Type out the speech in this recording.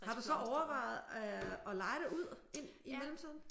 Har du så overvejet at leje det ud ind i mellemtiden?